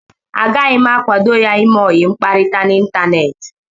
Agaghị m akwado ya ime ọyi mkparịta n'Ịntaneti.